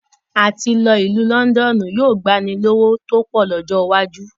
Àti lọ ìlú Lọ́ndọ́ọ́nù yóò gbani lówó tó pọ̀ lọ́jọ́ iwájú